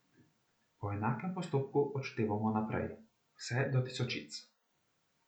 Po enakem postopku odštevamo naprej, vse do tisočic.